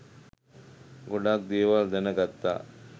ගොඩක් දේවල් දැනගත්තා.